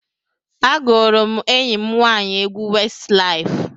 Agụụrụ m enyi m nwaanyị egwu Westlaif.